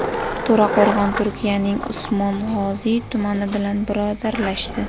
To‘raqo‘rg‘on Turkiyaning Usmong‘oziy tumani bilan birodarlashdi.